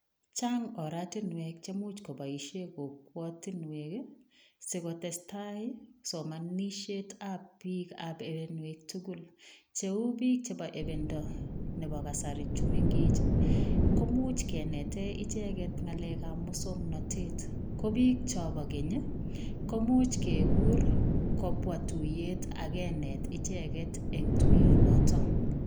Chang oratinwek chemuch koboisie kokwotinwek ii si kotestai somanisietab piikab ibinwek tugul, cheu piik chebo ibando nebo kasari chu mengech ii, komuch kenete icheket ngakelekab musoknotet. ko piik chobo keny komuch kekur kobwa tuiyet ak kenet icheket eng tuiyonoto.